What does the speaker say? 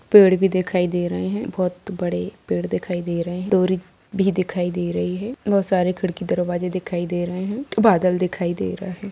पेड़ भी दिखाई दे रहे है बहुत बड़े पेड़ दिखाई दे रहे है डोरी भी दिखाई दे रही हैं बहुत सारे खिड़की दरवाजे दिखाई दे रहे है बादल दिखाई दे रहा है।